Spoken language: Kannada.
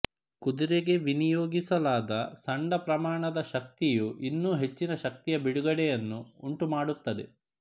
ಕುದುರೆಗೆ ವಿನಿಯೋಗಿಸಲಾದ ಸಣ್ಣ ಪ್ರಮಾಣದ ಶಕ್ತಿಯು ಇನ್ನೂ ಹೆಚ್ಚಿನ ಶಕ್ತಿಯ ಬಿಡುಗಡೆಯನ್ನು ಉಂಟುಮಾಡುತ್ತದೆ